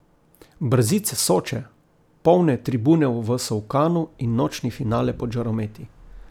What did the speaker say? Brzice Soče, polne tribune v Solkanu in nočni finale pod žarometi.